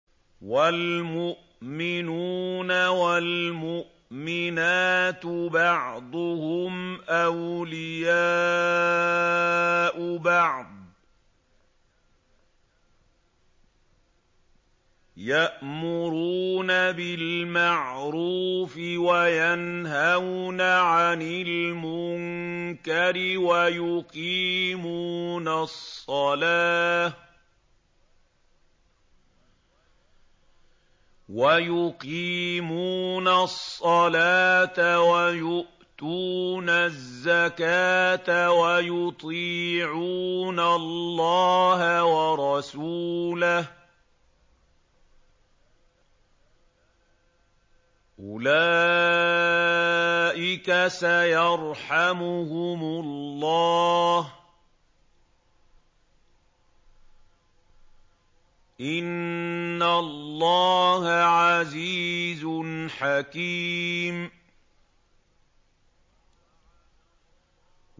وَالْمُؤْمِنُونَ وَالْمُؤْمِنَاتُ بَعْضُهُمْ أَوْلِيَاءُ بَعْضٍ ۚ يَأْمُرُونَ بِالْمَعْرُوفِ وَيَنْهَوْنَ عَنِ الْمُنكَرِ وَيُقِيمُونَ الصَّلَاةَ وَيُؤْتُونَ الزَّكَاةَ وَيُطِيعُونَ اللَّهَ وَرَسُولَهُ ۚ أُولَٰئِكَ سَيَرْحَمُهُمُ اللَّهُ ۗ إِنَّ اللَّهَ عَزِيزٌ حَكِيمٌ